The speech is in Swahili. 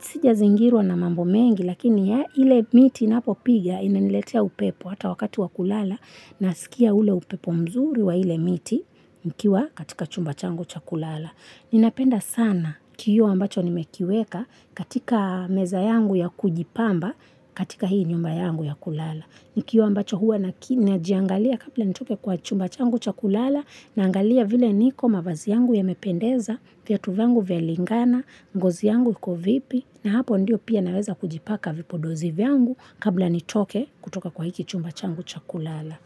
Sijazingirwa na mambo mengi, lakini ya ile miti napopiga inaniletea upepo hata wakati wa kulala, na sikia ule upepo mzuri wa ile miti nikiwa katika chumba changu cha kulala. Ninapenda sana kioo ambacho nimekiweka katika meza yangu ya kujipamba katika hii nyumba yangu ya kulala. Ni kioo ambacho huwa najiangalia kabla nitoke kwa chumba changu cha kulala, na angalia vile niko, mavazi yangu yamependeza, viatu vyangu vyalingana, ngozi yangu iko vipi, na hapo ndiyo pia naweza kujipaka vipodozi vyangu kabla nitoke kutoka kwa hiki chumba changu cha kulala.